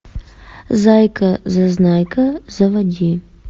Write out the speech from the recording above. зайка зазнайка заводи